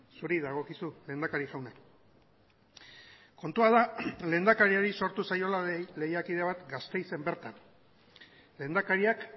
zuri dagokizu lehendakari jauna kontua da lehendakariari sortu zaiola lehiakide bat gasteizen bertan lehendakariak